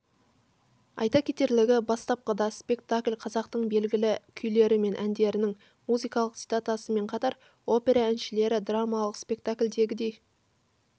айта кетерлігі бастапқыда спектакль қазақтың белгілі күйлері мен әндерінің музыкалық цитатасымен қатар опера әншілері драмалық спектакльдегідей